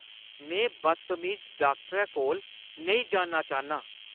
में बदतमीज डाक्टरै कोल नेईं जाना चाह्न्नां।